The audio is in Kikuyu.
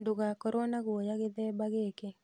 Ndũgakorwo na guoya gĩthemba gĩkĩ